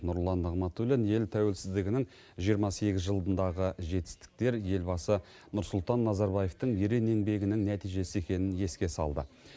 нұрлан нығматулин ел тәуелсіздігінің жиырма сегіз жылындағы жетістіктер елбасы нұрсұлтан назарбаевтың ерен еңбегінің нәтижесі екенін еске салды